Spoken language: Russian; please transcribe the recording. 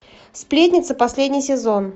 сплетница последний сезон